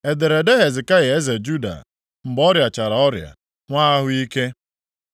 Ederede Hezekaya eze Juda, mgbe ọrịachara ọrịa, nwee ahụ ike: